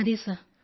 yes sir